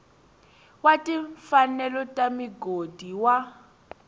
wa timfanelo ta migodi wa